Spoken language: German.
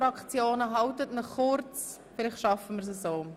Fassen Sie sich kurz, vielleicht schaffen wir es so.